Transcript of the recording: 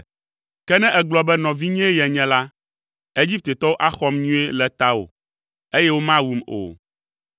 Ke ne ègblɔ be nɔvinyee yenye la, Egiptetɔwo axɔm nyuie le tawò, eye womawum o!”